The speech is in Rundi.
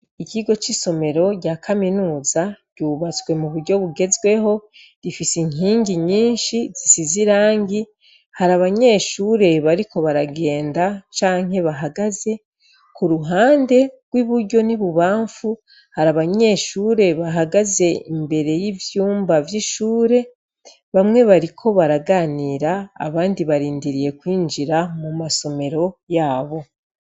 Ikigo c' isomero rya kaminuza, ryubatswe mu buryo bugezweho, rifise inkingi nyinshi zisize irangi, hari abanyeshure bariko baragenda canke bahagaze, ku ruhande rw' iburyo n' ibubanfu, hari abanyeshure bahagaze imbere y' ivyumba vy' ishure, bamwe bariko baraganira, abandi barindiriye kwinjira mu ma somero yabo.